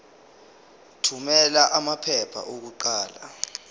thumela amaphepha okuqala